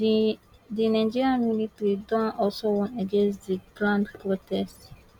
di nigerian military don also warn against di planned protest